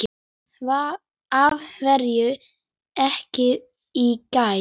Af hverju ekki í gær?